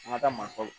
An ka taa manɔgɔ